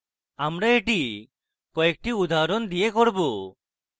আমরা এটি কয়েকটি উদাহরণ দিয়ে করব